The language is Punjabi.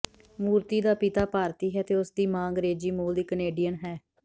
ਮੂਰਤੀ ਦਾ ਪਿਤਾ ਭਾਰਤੀ ਹੈ ਅਤੇ ਉਸਦੀ ਮਾਂ ਅੰਗਰੇਜ਼ੀ ਮੂਲ ਦੀ ਕੈਨੇਡੀਅਨ ਹੈ